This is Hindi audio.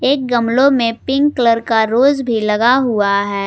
एक गमलों में पिंक कलर का रोज भी लगा हुआ है।